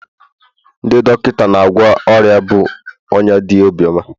ndị dọkịta na-agwọ ọrịa bụ ọnya dị obiọma